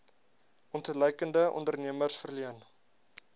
ontluikende ondernemers verleen